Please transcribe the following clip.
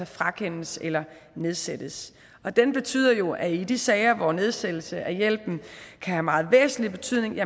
frakendelses eller nedsættes den betyder jo at i de sager hvor nedsættelse af hjælpen kan have meget væsentlig betydning vil